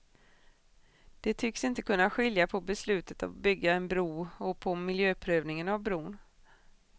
De tycks inte kunna skilja på beslutet att bygga en bro och på miljöprövningen av bron.